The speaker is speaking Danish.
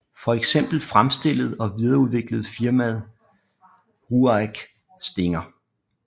For eksempel fremstillede og videreudviklede firmaet RUAG Stinger